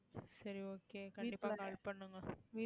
சரி okay கண்டிப்பா help பண்ணுங்க